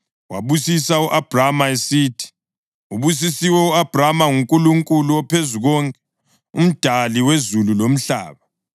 wabusisa u-Abhrama esithi, “Ubusisiwe u-Abhrama nguNkulunkulu oPhezukonke, uMdali wezulu lomhlaba.